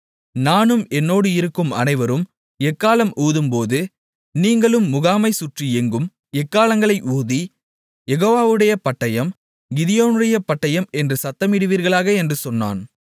நானும் என்னோடு இருக்கும் அனைவரும் எக்காளம் ஊதும்போது நீங்களும் முகாமைச் சுற்றி எங்கும் எக்காளங்களை ஊதி யெகோவாவுடைய பட்டயம் கிதியோனுடைய பட்டயம் என்று சத்தமிடுவீர்களாக என்று சொன்னான்